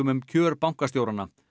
um kjör bankastjóranna